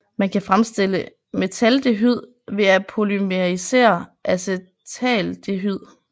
Man kan fremstille metaldehyd ved at polymerisere acetaldehyd